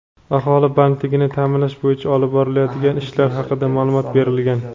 aholi bandligini ta’minlash bo‘yicha olib borilayotgan ishlar haqida ma’lumot berilgan.